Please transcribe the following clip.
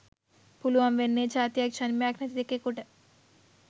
පුළුවන් වෙන්නේ ජාතියක් ජන්මයක් නැති එකෙකුට